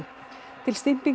til